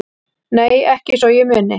Nei ekki svo ég muni